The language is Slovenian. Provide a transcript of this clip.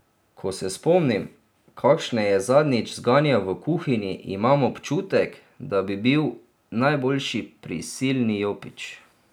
Ko se spomnim, kakšne je zadnjič zganjal v kuhinji, imam občutek, da bi bil najboljši prisilni jopič.